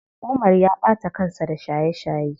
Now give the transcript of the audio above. Umar ya ɓata kansa da shaye shaye.